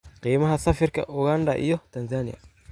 qiimaha sarifka Uganda iyo Tanzania